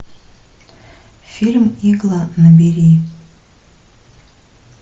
фильм игла набери